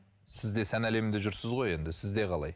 сіз де сән әлемінде жүрсіз ғой енді сізде қалай